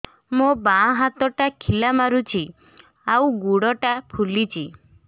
ମୋ ବାଆଁ ହାତଟା ଖିଲା ମାରୁଚି ଆଉ ଗୁଡ଼ ଟା ଫୁଲୁଚି